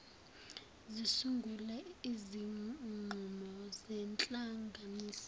zisungule izinqumo ngenhlanganisela